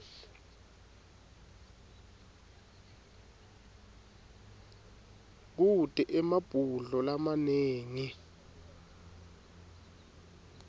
kute emabhudlo lamanengi